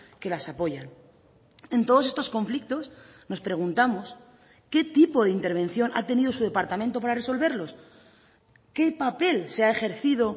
que las apoyan en todos estos conflictos nos preguntamos qué tipo de intervención ha tenido su departamento para resolverlos qué papel se ha ejercido